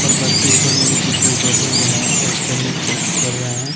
और बस के ऊपर मे भी कुछ लोग बैठे हुए हैं और चलने की कोशिश कर रहे हैं।